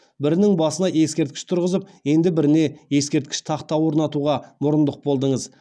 бірінің басына ескерткіш тұрғызып енді біріне ескерткіш тақта орнатуға мұрындық болдыңыз